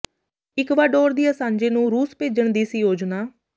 Ecuador ਦੀ Assange ਨੂੰ ਰੂਸ ਭੇਜਣ ਦੀ ਸੀ ਯੋਜਨਾ